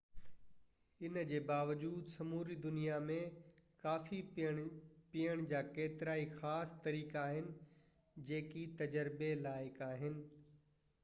ان جي باوجود سموري دنيا ۾ ڪافي پيئڻ جا ڪيترائي خاص طريقا آهن جيڪي تجربي لائق آهن